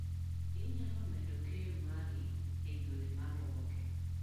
Inyalo medo keyo mari e yore maluwogi.